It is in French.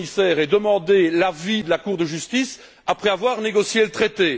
le Commissaire ait demandé l'avis de la Cour de justice après avoir négocié le traité?